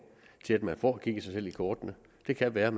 til at man får kigget sig selv i kortene det kan være